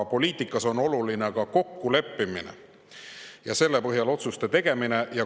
Poliitikas on aga olulised ka kokkulepped ja selle põhjal otsuste tegemine.